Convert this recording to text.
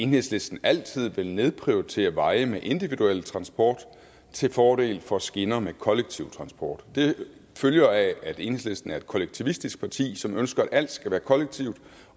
enhedslisten altid vil nedprioritere veje med individuel transport til fordel for skinner med kollektiv transport det følger af at enhedslisten er et kollektivistisk parti som ønsker at alt skal være kollektivt